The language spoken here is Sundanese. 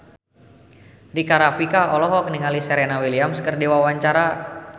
Rika Rafika olohok ningali Serena Williams keur diwawancara